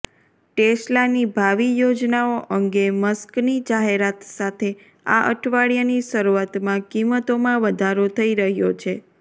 ટેસ્લાની ભાવિ યોજનાઓ અંગે મસ્કની જાહેરાત સાથે આ અઠવાડિયાની શરૂઆતમાં કિંમતોમાં વધારો થઈ રહ્યો છે